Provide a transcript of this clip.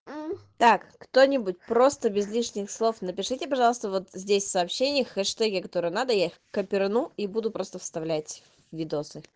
так кто-нибудь просто без лишних слов напишите пожалуйста вот здесь сообщение хэштеги которые надо я их копирну и буду просто вставлять в видосы